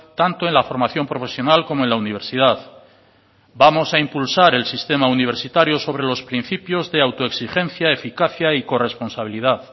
tanto en la formación profesional como en la universidad vamos a impulsar el sistema universitario sobre los principios de autoexigencia eficacia y corresponsabilidad